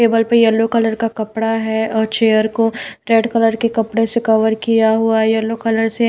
table पे yellow colour का कपड़ा है और चेयर को रेड कलर के कपड़े से कवर किया हुआ है येलो कलर से--